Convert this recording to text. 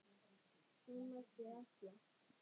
Það mætti ætla.